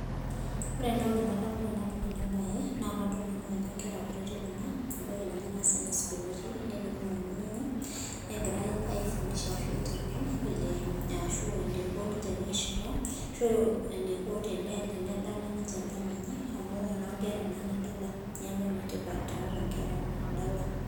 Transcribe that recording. Ore entoki nadamu tenadol enabae, na kadamu ajo nkera kutitik kuna, ebaiki nye na Sunday school etii, netii ormalimui lenye. Negira aifundisha ashu aiteng'en vile ashu eniko ninche peshipa, ashu eniko tenedala ninche edala enye, amu enonkera naa enadala. Neeku enetipat tiatua nkera edala.